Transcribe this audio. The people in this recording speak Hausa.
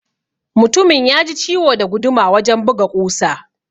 Mutumin yaji ciwo da guduma wajan buga ƙusa.